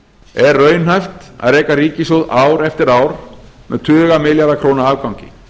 er raunhæft að reka ríkissjóð ár eftir ár með tuga milljarða króna afgangi